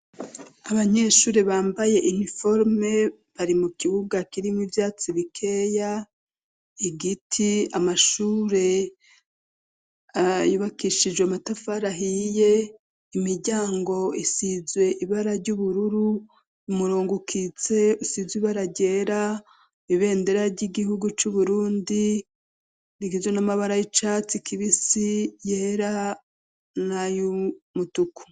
Abanyeshuri bambaye iniforme bari mu kibuga kirimwe ivyatsi bikeya igiti amashure ayubakishijwe amatafarahiye imiryango isizwe ibara ry'ubururu umurongukitse usizwe ibarageraa bendera ry'igihugu c'uburundi rigijwe n'amabara y'icatsi kibisi yera na youmutuku.